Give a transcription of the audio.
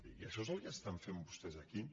i això és el que estan fent vostès aquí